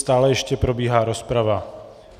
Stále ještě probíhá rozprava.